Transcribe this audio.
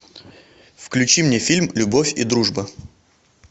включи мне фильм любовь и дружба